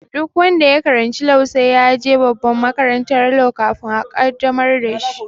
Duk wanda ya karanci law sai ya je babban makarantan law kafin a qaddamar da shi